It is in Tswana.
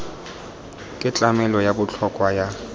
ke tlamelo ya botlhokwa ya